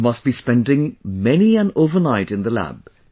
You must be spending many an overnight in the lab